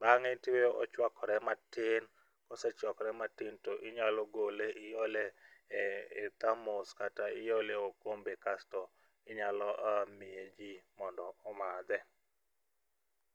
bang'e tiweye ochwakore matin. Kosechwakore matin to inyalo gole iole e thamos kata iole e okombe kasto inyalo miye jii mondo omadhe.